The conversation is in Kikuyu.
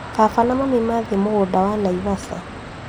Baba na mami mathiĩ mũgũnda wa Naivasha